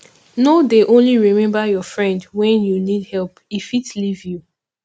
no dey only remember your friend wen you need help e fit leave you